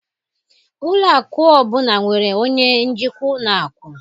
Ụlọ akụ ọ bụla nwere onye njikwa ụlọ akụ